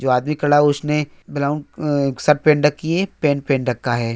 जो आदमी खड़ा हे उसने ब्राउन अं की पेंट पेहन रखा हे|